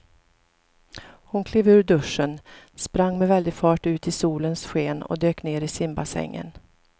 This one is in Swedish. Hon klev ur duschen, sprang med väldig fart ut i solens sken och dök ner i simbassängen.